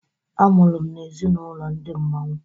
A mụrụ m na ezi n' ụlọ Ndi Mmanwu